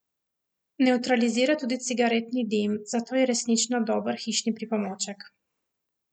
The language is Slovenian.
Nevtralizira tudi cigaretni dim, zato je resnično dober hišni pomočnik.